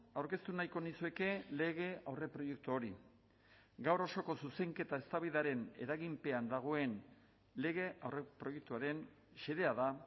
aurkeztu nahiko nizueke lege aurreproiektu hori gaur osoko zuzenketa eztabaidaren eraginpean dagoen lege aurreproiektuaren xedea da